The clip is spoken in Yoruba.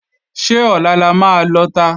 Ṣé Ọ̀la la máa lọta?